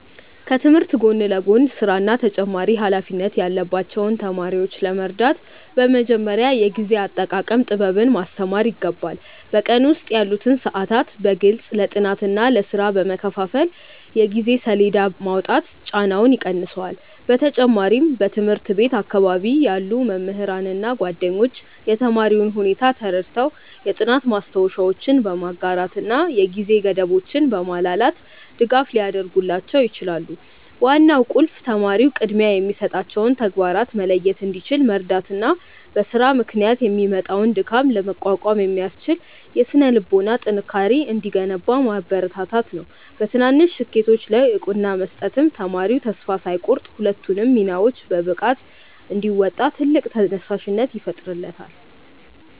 ከትምህርት ጎን ለጎን ሥራና ተጨማሪ ኃላፊነት ያለባቸውን ተማሪዎች ለመርዳት በመጀመሪያ የጊዜ አጠቃቀም ጥበብን ማስተማር ይገባል። በቀን ውስጥ ያሉትን ሰዓታት በግልጽ ለጥናትና ለሥራ በመከፋፈል የጊዜ ሰሌዳ ማውጣት ጫናውን ይቀንሰዋል። በተጨማሪም በትምህርት ቤት አካባቢ ያሉ መምህራንና ጓደኞች የተማሪውን ሁኔታ ተረድተው የጥናት ማስታወሻዎችን በማጋራትና የጊዜ ገደቦችን በማላላት ድጋፍ ሊያደርጉላቸው ይችላሉ። ዋናው ቁልፍ ተማሪው ቅድሚያ የሚሰጣቸውን ተግባራት መለየት እንዲችል መርዳትና በሥራ ምክንያት የሚመጣውን ድካም ለመቋቋም የሚያስችል የሥነ-ልቦና ጥንካሬ እንዲገነባ ማበረታታት ነው። በትናንሽ ስኬቶች ላይ እውቅና መስጠትም ተማሪው ተስፋ ሳይቆርጥ ሁለቱንም ሚናዎች በብቃት እንዲወጣ ትልቅ ተነሳሽነት ይፈጥርለታል።